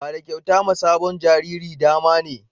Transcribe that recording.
Bada kyauta ma sabon jariri damane